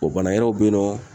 bana wɛrɛw be yen nɔ